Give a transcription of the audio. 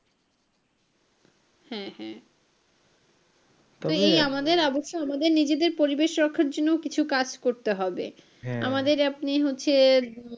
হ্যাঁ হ্যাঁ তবে এই আমাদের আমাদের নিজেদের পরিবেষ রক্ষার জন্য কিছু কাজ করতে হবে আমাদের আপনি হচ্ছে,